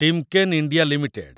Timken India limited